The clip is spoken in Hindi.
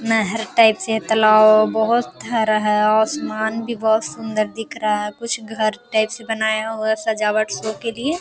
नहर टाइप से तालाब बहुत हरा है और आसमान भी बहुत सुन्दर दिख रहा है कुछ घर टाइप से बनाया हुआ है सजावट शो के लिए।